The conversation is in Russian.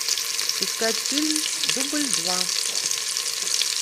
искать фильм дубль два